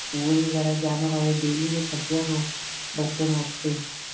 school ਵਗੇਰਾ ਜਾਣਾ ਹੋਏ daily ਦੇ ਖਰਚਿਆਂ ਤੋ ਬੱਚਣ ਵਾਸਤੇ